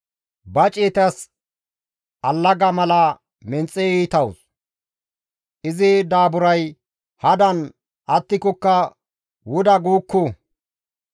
Ba ciyetas allaga mala menxe iitawus; izi daaburay hadan attikokka wuda guukku.